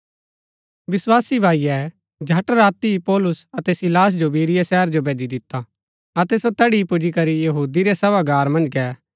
विस्वासी भाईये झट राती ही पौलुस अतै सीलास जो बिरीया शहर जो भैजी दिता अतै सो तैड़ी पुजीकरी यहूदी रै सभागार मन्ज गै